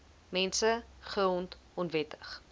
mense grond onwettig